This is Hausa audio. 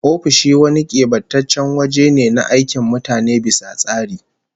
Ofishi wani kebantaccen waje ne na aikin mutane bisa tsari